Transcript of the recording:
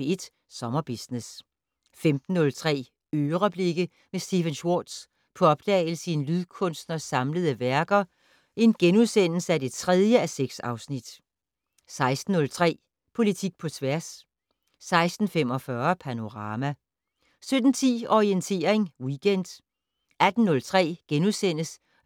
P1 Sommerbusiness * 15:03: "Øreblikke" med Stephen Schwartz - på opdagelse i en lydkunstners samlede værker (3:6)* 16:03: Politik på tværs 16:45: Panorama 17:10: Orientering Weekend 18:03: